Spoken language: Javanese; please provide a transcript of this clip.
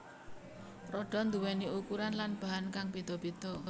Roda nduwèni ukuran lan bahan kang béda béda